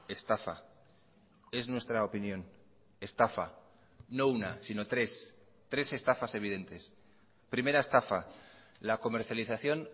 estafa es nuestra opinión estafa no una sino tres tres estafas evidentes primera estafa la comercialización